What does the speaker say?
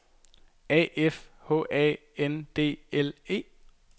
A F H A N D L E